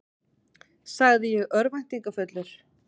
sagði ég örvæntingarfullur.